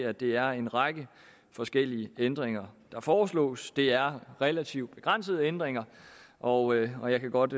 at det er en række forskellige ændringer der foreslås det er relativt begrænsede ændringer og jeg kan godt